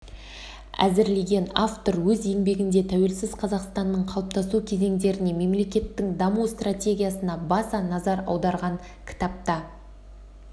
әзірлеген автор өз еңбегінде тәуелсіз қазақстанның қалыптасу кезеңдеріне мемлекеттің даму стратегиясына баса назар аударған кітапта